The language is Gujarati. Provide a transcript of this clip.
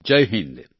જય હિન્દ